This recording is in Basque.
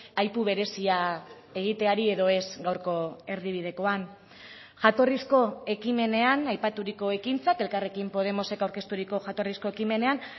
aipu berezia egiteari edo ez gaurko erdibidekoan jatorrizko ekimenean aipaturiko ekintzak elkarrekin podemosek aurkezturiko jatorrizko ekimenean